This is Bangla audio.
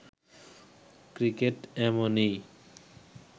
ক্রিকেট এমনই